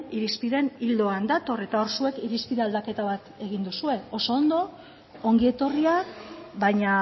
irizpideen ildoan dator eta hor zuek irizpide aldaketa bat egin duzue oso ondo ongi etorria baina